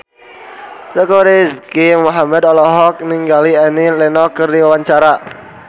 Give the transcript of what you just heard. Teuku Rizky Muhammad olohok ningali Annie Lenox keur diwawancara